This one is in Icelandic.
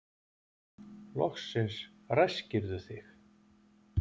Loksins ræskirðu þig.